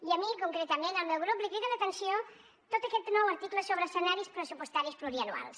i a mi concretament al meu grup li crida l’atenció tot aquest nou article sobre escenaris pressupostaris pluriennals